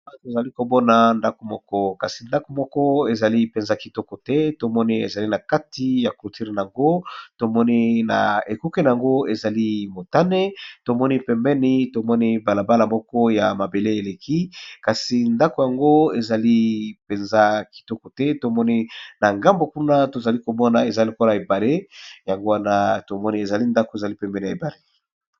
Tozali komona ndako moko kasi ndako moko ezali mpenza kitoko te, tomoni ezali na kati ya clôture na yango tomoni na ekuke na yango ezali motani, tomoni pembeni tomoni balabala moko ya mabele eleki kasi ndako yango ezali mpenza kitoko te, tomoni na ngambo kuna tozali kobona ezali lokola ebale yango wana tomoni ezali ndako ezali pembeni ebale.